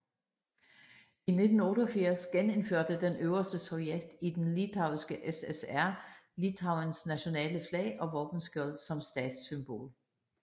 I 1988 genindførte den øverste sovjet i den litauiske SSR Litauens nationale flag og våbenskjold som statssymbol